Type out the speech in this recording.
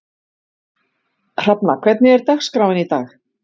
Hrafna, hvernig er dagskráin í dag?